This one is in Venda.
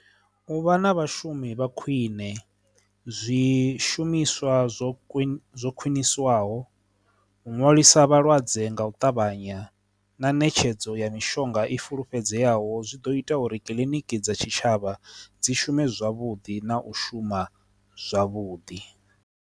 Uvha na vhashumi vha khwine zwishumiswa zwo king zwo khwiniswaho u nwalisa vhalwadze nga u ṱavhanya na ṋetshedzo ya mishonga i fulufhedzeaho zwi ḓo ita uri kiliniki dza tshitshavha dzi shume zwavhuḓi na u shuma zwavhuḓi.